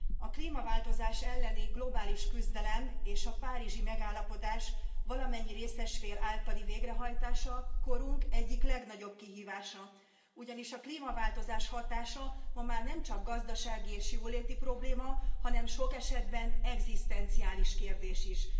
A klímaváltozás elleni globális küzdelem és a párizsi megállapodás valamennyi részes fél általi végrehajtása korunk egyik legnagyobb kihívása, ugyanis a klímaváltozás hatása ma már nemcsak gazdasági és jóléti probléma, hanem sok esetben egzisztenciális kérdés is.